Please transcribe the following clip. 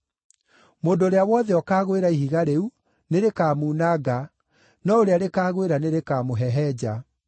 Mũndũ ũrĩa wothe ũkaagwĩra ihiga rĩu, nĩrĩkamuunanga, no ũrĩa rĩkaagwĩra nĩrĩkamũhehenja.”